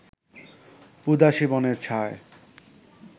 উদাসি বনের ছায়